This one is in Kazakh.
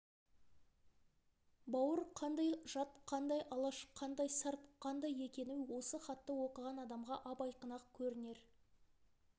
бауыр қандай жат қандай алаш қандай сарт қандай екені осы хатты оқыған адамға ап-айқын-ақ көрінер